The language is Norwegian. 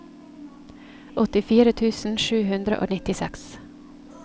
åttifire tusen sju hundre og nittiseks